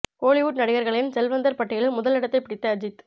கோலிவுட் நடிகர்களின் செல்வந்தர் பட்டியலில் முதல் இடத்தை பிடித்த அஜித்